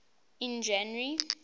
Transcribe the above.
in january